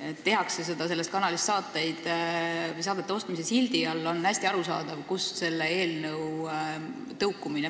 ja tehakse seda selles kanalis saadete ostmise sildi all, on hästi arusaadav, kust see eelnõu tõukub.